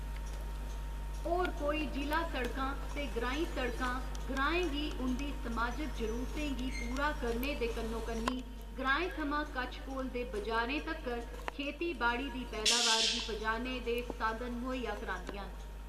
होर कोई जि'ला सड़कां ते ग्राईं सड़कां ग्राएं गी उं'दी समाजिक जरूरतें गी पूरा करने दे कन्नो कन्नी ग्राएं थमां कच्छ कोल दे बजारें तक्कर खेतीबाड़ी दी पैदावार गी पजाने दे साधन मुहैया करांदियां न।